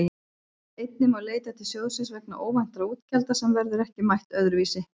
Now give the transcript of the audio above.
Einnig má leita til sjóðsins vegna óvæntra útgjalda sem verður ekki mætt öðru vísi.